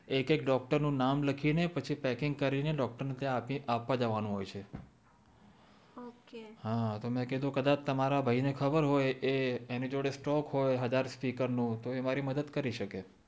એક એક ડોક્ટર નું નામે લખી ને પછી પેકીંગ કરી ને ડોક્ટર ને ત્યાં આપવા જાવનું હોય છે ઓકે હા તો મેં કીધું કદાચ તમારા ભાઈ ને ખબર હોય કે એ એની જોડે સ્ટોકે હોય હાજર સ્પીકર નું એ મારી મદદ કરી શકે